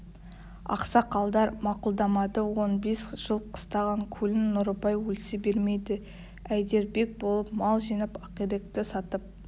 ақсақалдар мақұлдамады он бес жыл қыстаған көлін нұрыбай өлсе бермейді әйдербек болып мал жинап ақиректі сатып